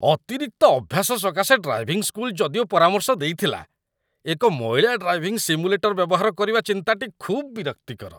ଅତିରିକ୍ତ ଅଭ୍ୟାସ ସକାଶେ ଡ୍ରାଇଭିଂ ସ୍କୁଲ ଯଦିଓ ପରାମର୍ଶ ଦେଇଥିଲା, ଏକ ମଇଳା ଡ୍ରାଇଭିଂ ସିମୁଲେଟର ବ୍ୟବହାର କରିବା ଚିନ୍ତାଟି ଖୁବ୍ ବିରକ୍ତିକର।